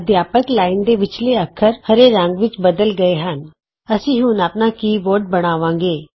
ਅਧਿਆਪਕ ਲਾਈਨ ਵਿਚਲੇ ਅੱਖਰ ਹਰੇ ਰੰਗ ਵਿਚ ਬਦਲ ਗਏ ਹਨ160 ਅਸੀਂ ਹੁਣ ਆਪਣਾ ਕੀ ਬੋਰਡ ਬਣਾਵਾਂਗੇ